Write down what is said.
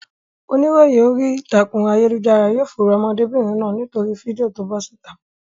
Oníròyìn orí ìtàkùn ayélujára yóò fòòró ọmọdébìnrin náà nítorí fídíò to bọ́ síta.